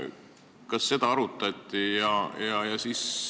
Kas seda on arutatud?